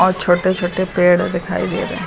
और छोटे छोटे पेड़ दिखाइ दे रहे --